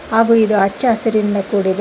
ಹಾಗೂ ಇದು ಹಚ್ಚ ಹಸಿರಿನಿಂದ ಕೂಡಿದೆ.